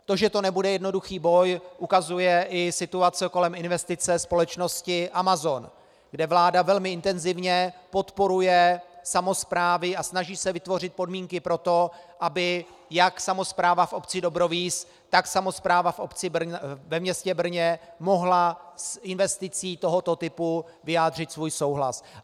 To, že to nebude jednoduchý boj, ukazuje i situace kolem investice společnosti Amazon, kde vláda velmi intenzivně podporuje samosprávy a snaží se vytvořit podmínky pro to, aby jak samospráva v obci Dobrovíz, tak samospráva ve městě Brno mohla s investicí tohoto typu vyjádřit svůj souhlas.